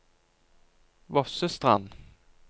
Vossestrand